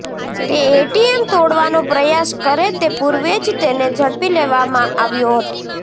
તે એટીએમ તોડવાનો પ્રયાસ કરે તે પુર્વે જ તેને ઝડપી લેવામાં આવ્યો હતો